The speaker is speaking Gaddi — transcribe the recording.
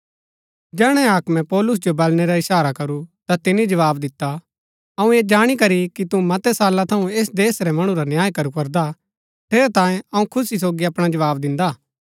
जैहणै हाक्मे पौलुस जो बलणै रा ईशारा करू ता तिनी जवाव दिता अऊँ ऐह जाणी करी कि तू मतै साला थऊँ ऐस देश रै मणु रा न्याय करू करदा ठेरैतांये अऊँ खुशी सोगी अपणा जवाव दिन्दा